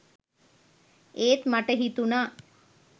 ඒත් මට හිතුණා